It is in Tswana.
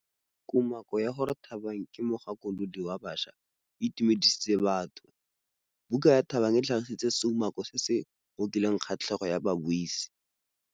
Kumakô ya gore Thabang ke mogakolodi wa baša e itumedisitse batho. Buka ya Thabang e tlhagitse seumakô se se ngokileng kgatlhegô ya babuisi.